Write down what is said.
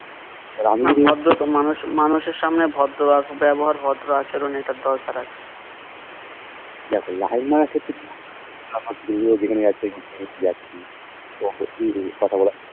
না ভদ্র তো মানুষ মানুষের সামনে ভদ্র ভদ্র ব্যাবহার ভদ্র আচরণ এটা দরকার আছে